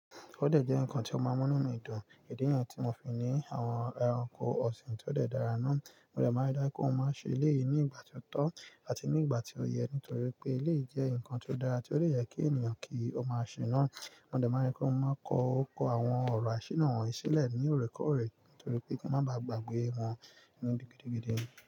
Ódẹ̀ jẹ́ ǹkan tí ó máa ń múnú mi dùn. Ìdí yẹn ni tí mo fi ń ní àwọn ẹranko ọ̀sìn tó de dára náà. Mo dẹ̀ máa ń dá kí wọ́n má ṣe eléyìí ní ìgbà tí ó tọ́ àti ní ìgbà tí ó yẹ nítorí pé eléyìí jẹ́ ǹkan tó dára tí ó lè yẹ kí ènìyàn kí ó máa ṣe náà. Mo dẹ̀ máa ń dá kí wọ́n máa kọ ọkọ àwọn ọ̀rọ̀ àṣírí náà sílẹ̀ ní òrèkọ́ọ̀rè nítorí pé kí wọ́n má baà gbàgbé wọn nínú gidi gidigidi.